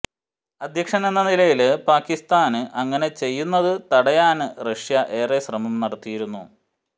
അധ്യക്ഷനെന്ന നിലയില് പാക്കിസ്താന് അങ്ങനെ ചെയ്യുന്നത് തടയാന് റഷ്യ ഏറെ ശ്രമം നടത്തിയിരുന്നു